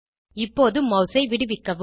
இப்போது மாஸ் ஐ விடுவிக்கவும்